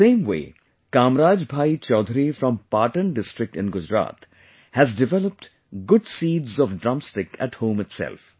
In the same way Kamraj Bhai Choudhary from Patan district in Gujarat has developed good seeds of drum stick at home itself